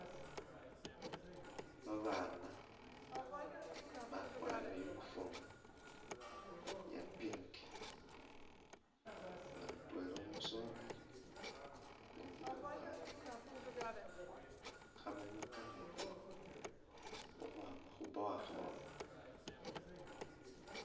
Babaana bakwarire uniform iya pink nga mutweela umusoleli ukundi umukhaana khabanywa kameetsi ukhwama khu’borehole .